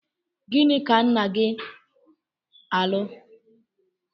Gịnị ka nna-gi alụ?